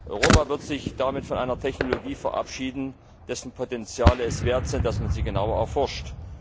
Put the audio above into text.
Europa wird sich damit von einer Technologie verabschieden, deren Potenziale es wert sind, dass man sie genauer erforscht.